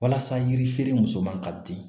Walasa yiri feere muso man ka di